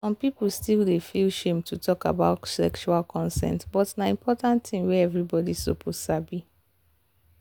some people still dey feel shame to talk about sexual consent but na important thing wey everybody suppose sabi.